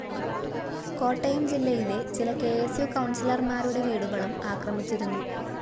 കോട്ടയം ജില്ലയിലെ ചില K S U കൗണ്‍സിലര്‍മാരുടെ വീടുകളും ആക്രമിച്ചിരുന്നു